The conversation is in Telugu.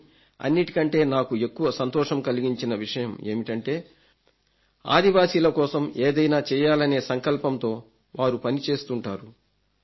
కానీ అన్నింటికంటే నాకు ఎక్కువ సంతోషం కలిగించిన విషయం ఏమిటంటే ఆదివాసుల కోసం ఏదైనా చేయాలనే సంకల్పంతో వారు పని చేస్తుంటారు